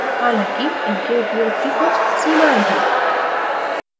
हालांकि इनके उपयोग की कुछ सीमाएं हैं